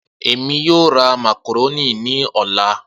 Emi yoo ra macaroni ni ọla.